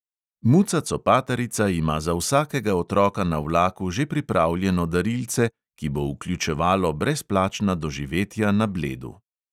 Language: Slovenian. Muca copatarica ima za vsakega otroka na vlaku že pripravljeno darilce, ki bo vključevalo brezplačna doživetja na bledu.